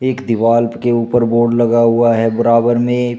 एक दीवाल के ऊपर बोर्ड लगा हुआ है बराबर में।